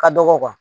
Ka dɔgɔ